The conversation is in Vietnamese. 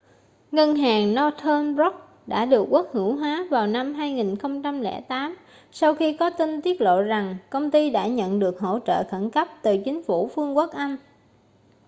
ngân hàng northern rock đã được quốc hữu hóa vào năm 2008 sau khi có tin tiết lộ rằng công ty đã nhận được hỗ trợ khẩn cấp từ chính phủ vương quốc anh